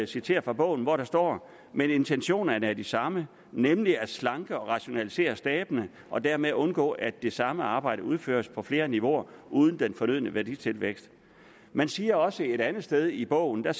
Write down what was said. citere fra bogen hvor der står men intentionerne er de samme nemlig at slanke og rationalisere stabene og dermed undgå at det samme arbejde udføres på flere niveauer uden den fornødne værditilvækst man siger også et andet sted i bogen at